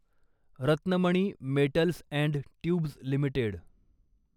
Ratnamani metals and tubes limited